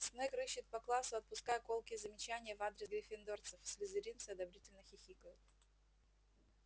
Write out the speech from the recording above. снегг рыщет по классу отпуская колкие замечания в адрес гриффиндорцев слизеринцы одобрительно хихикают